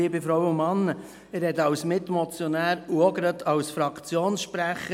Ich spreche als Mitmotionär und gleichzeitig als Fraktionssprecher.